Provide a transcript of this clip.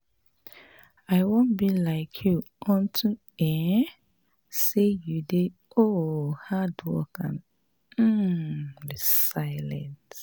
I wan be like you unto um say you dey um hardworking and um resilient